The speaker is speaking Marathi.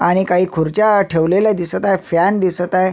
आणि काही खुर्च्या ठेवलेल्या दिसत आहे फॅन दिसत आहे.